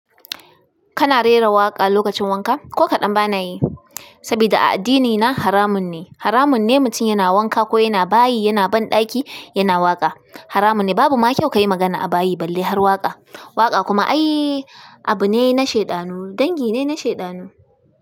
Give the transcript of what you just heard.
Kana rera waƙa lokacin wanka? Ko kaɗan bana yi, saboda a addinina haramun ne. Haramun ne mutum yana wanka ko yana bayi, yana banɗaki yana waƙa. Haramun ne. Babu ma kyau kayi magana a bayi balle har waƙa. Waƙa kuma ayiii abu ne na shaiɗaanu, dangi ne na shaiɗaanu.